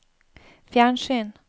fjernsyn